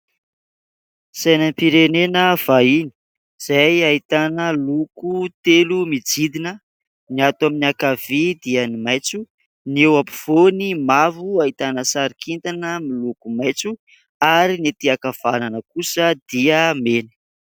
Sainam- pirenena vahiny izay ahitana loko telo mijidina ny ato amin'ny ankavia dia ny maitso, ny eo ampovoany mavo ahitana sary kintana miloko maitso ary ny aty ankavanana kosa dia mena.